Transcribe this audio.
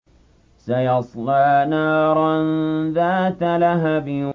سَيَصْلَىٰ نَارًا ذَاتَ لَهَبٍ